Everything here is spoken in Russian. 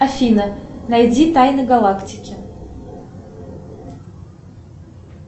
афина найди тайны галактики